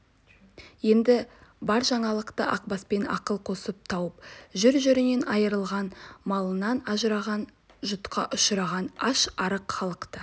енді бар жаңалықты ақбаспен ақыл қосып тауып жүр жерінен айырылған малынан ажыраған жұтқа ұшыраған аш-арық халықты